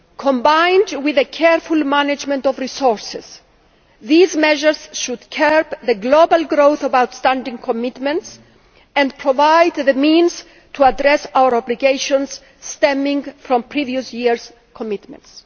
Combined with a careful management of resources these measures should curb the global growth of outstanding commitments and provide the means to address our obligations stemming from previous years' commitments.